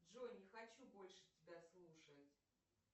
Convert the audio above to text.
джой не хочу больше тебя слушать